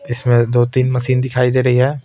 इसमें दो-तीन मशीन दिखाई दे रही है.